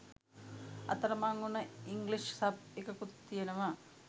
අතරමං උන English sub එකකුත් තියෙනවා.